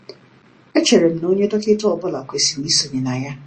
Echere m na onye dọkịta ọ bụla kwesịrị isonye na ya.